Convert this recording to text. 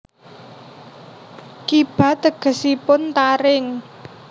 Kiba tegesipun taring